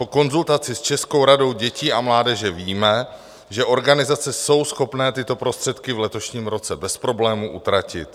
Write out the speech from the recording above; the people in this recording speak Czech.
Po konzultaci s Českou radou dětí a mládeže víme, že organizace jsou schopné tyto prostředky v letošním roce bez problému utratit.